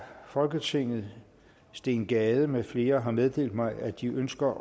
folketinget steen gade med flere har meddelt mig at de ønsker